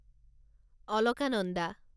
Alaknanda